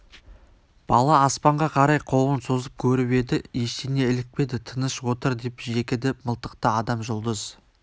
бала аспанға қарай қолын созып көріп еді ештеңе ілікпеді тыныш отыр деп жекіді мылтықты адам жұлдыз